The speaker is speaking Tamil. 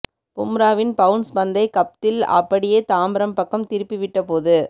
பும்ராவின் பவுன்ஸ் பந்தை கப்தில் அப்படியே தாம்பரம் பக்கம் திருப்பி விட்ட போது